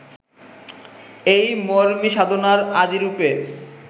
এই মরমিসাধনার আদি রূপের